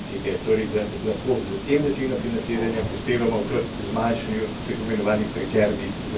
Torej, da lahko s tem načinom financiranja prispevamo k zmanjšanju tako imenovanih prekernih zaposlitev.